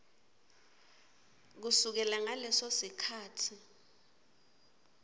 kusukela ngaleso sikhatsi